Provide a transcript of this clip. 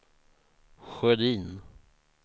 Sjödin